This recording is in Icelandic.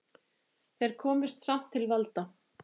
Þeir komust samt til valda.